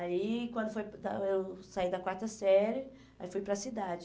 Aí, quando foi eu saí da quarta série, aí fui para a cidade.